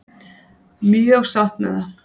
Mjög sátt með það.